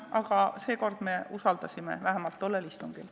Aga seekord me usaldasime, vähemalt tollel istungil.